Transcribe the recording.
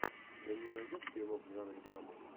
ты мне найдешь фильмок в жанре драма